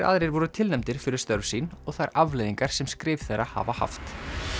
aðrir voru tilnefndir fyrir störf sín og þær afleiðingar sem skrif þeirra hafa haft